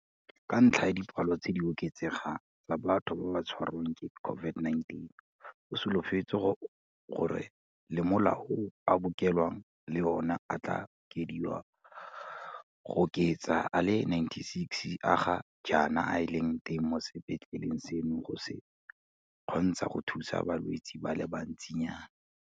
Ka ntlha ya dipalo tse di oketsegang tsa batho ba ba tshwarwang ke COVID-19, go solofetswe gore le malao a bookelo le ona a tla okediwa go oketsa a le 96 a ga jaana a leng teng mo sepetleleng seno go se kgontsha go thusa balwetse ba le bantsinyana.